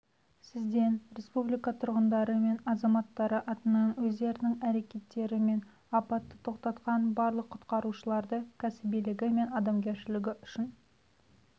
сізден республика тұрғындары мен азаматтары атынан өздерінің әрекеттерімен апатты тоқтатқан барлық құтқарушыларды кәсібилігі мен адамгершілігі үшін